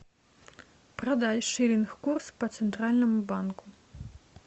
продать шиллинг курс по центральному банку